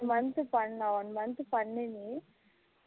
month பண்னா one month பண்ணு நீ